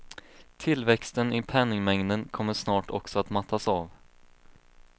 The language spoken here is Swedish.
Tillväxten i penningmängden kommer snart också att mattas av.